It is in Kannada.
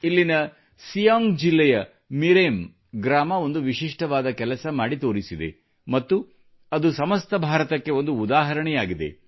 ಇಲ್ಲಿನ ಸಿಯಾಂಗ್ ಜಿಲ್ಲೆಯ ಮಿರೆಮ್ ಗ್ರಾಮ ಒಂದು ವಿಶಿಷ್ಟವಾದ ಕೆಲಸ ಮಾಡಿ ತೋರಿಸಿದೆ ಮತ್ತು ಅದು ಸಮಸ್ತ ಭಾರತಕ್ಕೆ ಒಂದು ಉದಾಹರಣೆಯಾಗಿದೆ